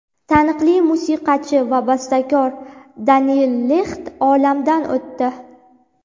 Taniqli musiqachi va bastakor Deniel Lixt olamdan o‘tdi.